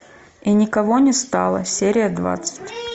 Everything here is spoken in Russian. и никого не стало серия двадцать